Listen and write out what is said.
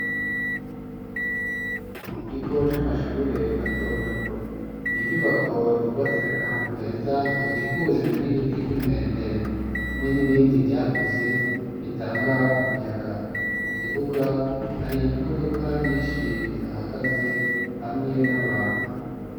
Mu kigo c'amashure mato mato. Inyubako zubatse ahantu heza hakikujwe n'ibiti vy'imwembe, hamwe n'ibindi vyakuze, bitanga umuyaga. Mu kibuga, hari imodoka nyinshi zihahagaze, hamwe n'abantu.